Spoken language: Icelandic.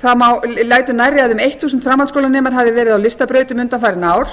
það lætur nærri að um þúsund framhaldsskólanemar hafi verið á listabrautum undanfarin ár